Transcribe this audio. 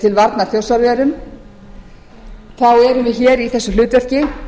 til varnar þjórsárverum erum við hér í þessu hlutverki